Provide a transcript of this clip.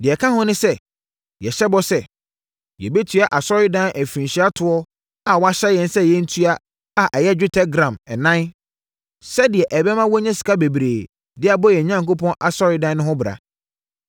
“Deɛ ɛka ho ne sɛ, yɛhyɛ bɔ sɛ, yɛbɛtua Asɔredan afirinhyia toɔ a wɔahyɛ yɛn sɛ yɛntua a ɛyɛ dwetɛ gram ɛnan, sɛdeɛ ɛbɛma wɔanya sika bebree de abɔ yɛn Onyankopɔn Asɔredan no ho bra.